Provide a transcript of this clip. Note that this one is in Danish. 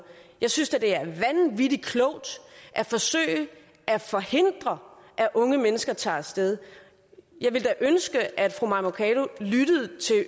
jeg synes da det er vanvittig klogt at forsøge at forhindre at unge mennesker tager af sted jeg ville da ønske at fru mai mercado lyttede til